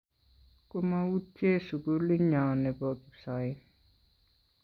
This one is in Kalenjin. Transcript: komautye sugulinyo nebo kipsoen